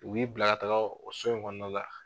U b'i bila ka taga o so in kɔnɔna la.